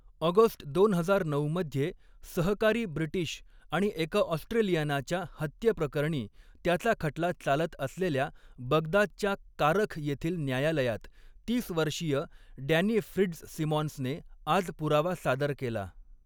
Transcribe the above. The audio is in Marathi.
ऑगस्ट दोन हजार नऊ मध्ये सहकारी ब्रिटीश आणि एका ऑस्ट्रेलियनाच्या हत्येप्रकरणी त्याचा खटला चालत असलेल्या बगदादच्या कारख येथील न्यायालयात, तीस वर्षीय डॅनि फिट्झसिमॉन्सने आज पुरावा सादर केला.